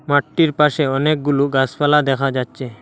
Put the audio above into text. মাঠটির পাশে অনেকগুলো গাসপালা দেখা যাচ্চে।